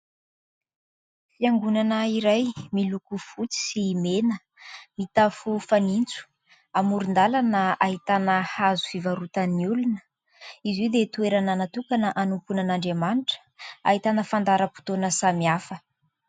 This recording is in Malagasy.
Fiangonana iray miloko fotsy sy mena, mitafo fanitso, amoron_dàlana, ahitana hazo fivarotan'ny olona. Ireo dia toerana natokana hanompoana an'Andriamanitra, ahitana fandaharam_potoana samihafa.